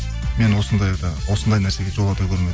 мені осындайда осындай нәрсеге жолата көрме деп